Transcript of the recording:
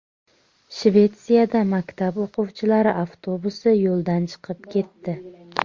Shvetsiyada maktab o‘quvchilari avtobusi yo‘ldan chiqib ketdi.